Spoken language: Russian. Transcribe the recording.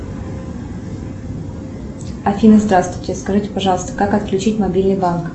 афина здравствуйте скажите пожалуйста как отключить мобильный банк